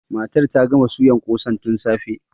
Matar ta gama suyan ƙosan tun da safe.